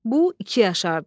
Bu iki yaşardı.